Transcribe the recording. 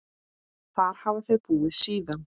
Þar hafa þau búið síðan.